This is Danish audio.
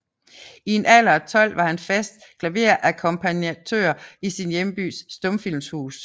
I en alder af 12 år var han fast klaverakkompagnatør i sin hjembys stumfilmshus